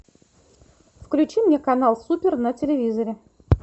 включи мне канал супер на телевизоре